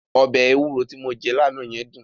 Ọbẹ̀ ewúro ti mo jẹ́ lánàá yẹn dùn.